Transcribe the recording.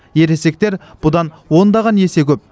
ересектер бұдан ондаған есе көп